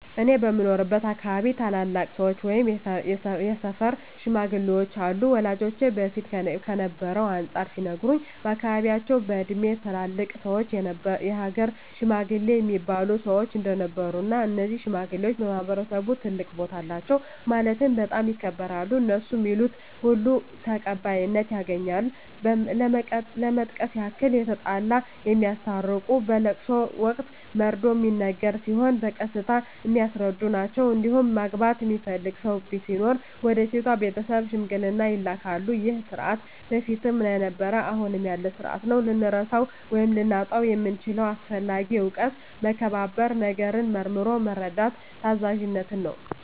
እኔ በምኖርበት አካባቢ ታላላቅ ሰዎች ወይም የሰፈር ሽማግሌዎች አሉ ወላጆቼ በፊት ከነበረው አንፃር ሲነግሩኝ በአካባቢያቸው በእድሜ ትላልቅ ሰዎች የሀገር ሽማግሌ እሚባሉ ሰዎች እንደነበሩ እና እነዚህ ሽማግሌዎች በማህበረሰቡ ትልቅ ቦታ አላቸው ማለትም በጣም ይከበራሉ እነሡ ሚሉት ሁሉ ተቀባይነት ያገኛል ለመጥቀስ ያክል የተጣላ የሚያስታርቁ በለቅሶ ወቅት መርዶ ሚነገር ሲሆን በቀስታ የሚያስረዱ ናቸዉ እንዲሁም ማግባት የሚፈልግ ሰው ሲኖር ወደ ሴቷ ቤተሰብ ሽምግልና ይላካሉ ይህ ስርዓት በፊትም ነበረ አሁንም ያለ ስርአት ነው። ልንረሳው ወይም ልናጣው የምንችለው አስፈላጊ እውቀት መከባበርን፣ ነገርን መርምሮ መረዳትን፣ ታዛዝነትን ነው።